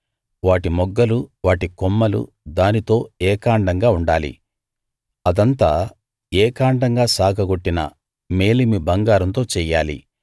వాటి మొగ్గలు వాటి కొమ్మలు దానితో ఏకాండంగా ఉండాలి అదంతా ఏకాండంగా సాగగొట్టిన మేలిమి బంగారంతో చెయ్యాలి